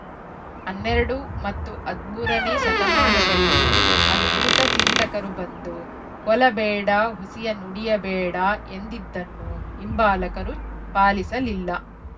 ಹನ್ನೆರಡು ಮತ್ತು ಹದಿಮೂರ ನೇ ಶತಮಾನದಲ್ಲಿ ಅದ್ಭುತ ಚಿಂತಕರು ಬಂದು ಕೊಲಬೇಡ ಹುಸಿಯ ನುಡಿಯಬೇಡ ಎಂದಿದ್ದನ್ನೂ ಹಿಂಬಾಲಕರು ಪಾಲಿಸಲಿಲ್ಲ